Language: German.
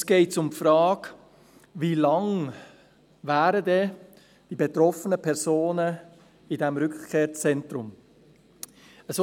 Uns geht es um die Frage, wie lange die betroffenen Personen in diesem Rückkehrzentrum wären.